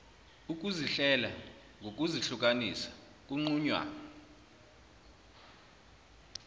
ukuzihlela ngokuzihlukanisa kunqunywa